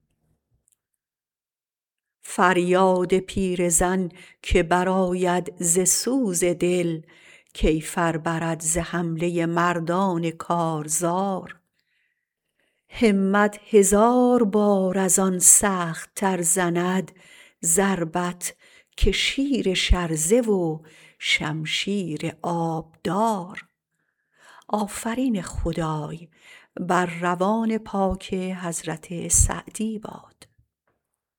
فریاد پیرزن که برآید ز سوز دل کیفر برد ز حمله مردان کارزار همت هزار بار از ان سخت تر زند ضربت که شیر شرزه و شمشیر آبدار